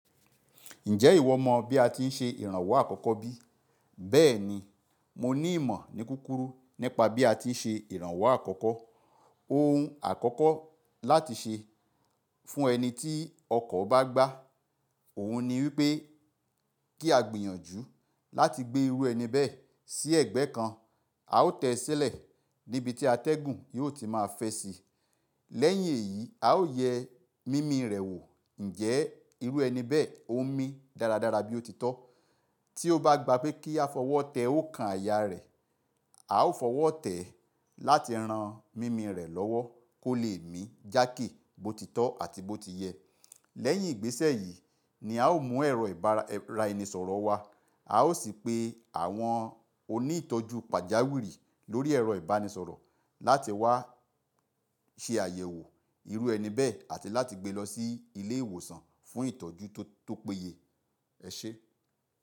Ǹjẹ́ ìwọ mọ bí a ti ń ṣe ìrànwọ́ àkọ́kọ́ bí? Bẹ́ẹ̀ni, mo ní ìmọ̀ ní kúrúkù nípa bí a ti ń ṣe ìrànwọ́ àkọ́kọ́. Ohun àkọ́kọ́ láti ṣe fún ẹni tí ọkọ̀ bá gbá òhun ni wípé kí a gbìyànjú láti gbé irú ẹni bẹ́ẹ̀ sí ẹ̀gbẹ́ kan. A ó tẹ sílẹ̀ níbi tí atẹ́gùn yóò ti máa fẹ́ síi. Lẹ́yìn èyí, a ó yẹ mími rẹ̀ wò ǹjẹ́ irú ẹni bẹ́ẹ̀ ó ń mí dáradára bí ó títọ́. Tí ó bá gba pé kí a fọwọ́ tẹ òǹkà àyà rẹ̀, a ó fọwọ́ tẹ́ ẹ láti ran mími rẹ̀ lọ́wọ́ kó lè mí jákè bó ti tọ́ àti bó ti yẹ. Lẹ́yìn ìgbésẹ̀ yìí ni a ó mú ẹ̀rọ ìbánisọ̀rọ̀ wá. A ó sì pe àwọn oní ìtọ́jú pàjáwìrì lórí ẹ̀rọ ìbánisọ̀rọ̀ láti wá ṣe àyẹ̀wò irú ẹni bẹ́ẹ̀ àti láti gbé e lọ sí ilé ìwòsàn fún ìtọ́jú tó péye. Ẹ ṣe.